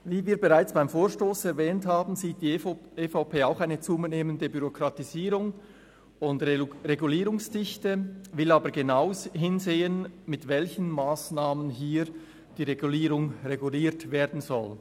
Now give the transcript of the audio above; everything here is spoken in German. Wie wir bereits beim Vorstoss erwähnt haben, sieht auch die EVP eine zunehmende Bürokratisierung und Regulierungsdichte, will aber genau hinsehen, mit welchen Massnahmen hier die Regulierung reguliert werden soll.